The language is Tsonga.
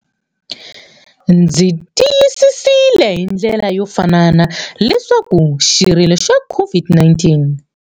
Ndzi tiyisisile hi ndlela yo fanana leswaku xirilo xa COVID-19.